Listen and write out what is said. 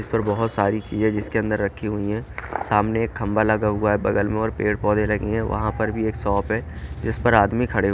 इस पर बहोत सारी चीज है जिसके अंदर रखी हुई है सामने एक खंभा लगा हुआ है बगल में और पेड़ पौधे लगे हैं वहां पर भी एक शॉप है जिस पर आदमी खड़े --